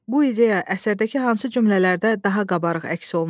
Bu ideya əsərdəki hansı cümlələrdə daha qabarıq əks olunub?